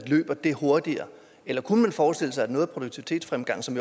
løber det hurtigere eller kunne man forestille sig at noget af produktivitetsfremgangen som